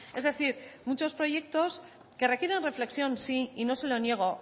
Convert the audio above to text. es decir muchos proyectos que requieren reflexión sí y no se lo niego